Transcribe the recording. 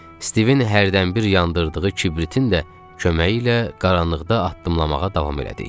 Stivin hərdən bir yandırdığı kibritin də köməyi ilə qaranlıqda addımlamağa davam elədik.